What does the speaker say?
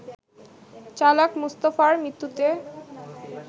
চালক মুস্তাফার মৃত্যুতে